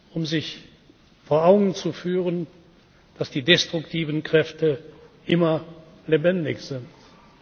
wichtig, um sich vor Augen zu führen, dass die destruktiven Kräfte immer